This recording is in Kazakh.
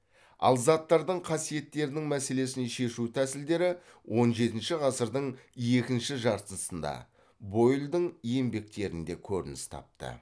ал заттардың қасиеттерінің мәселесін шешу тәсілдері он жетінші ғасырдың екінші жартысында бойлдің еңбектерінде көрініс тапты